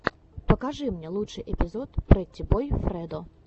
покажи мне лучший эпизод прэтти бой фредо